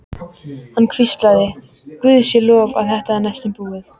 Hann hvíslaði: Guði sé lof að þetta er næstum búið.